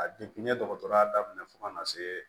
A n ye dɔgɔtɔrɔya daminɛ fɔ kana see